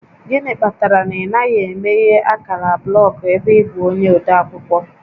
Gịnị kpatara na ị naghị emeghe ákàrà blọgụ ebe ị bụ onye ode akwụkwọ?